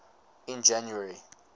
in january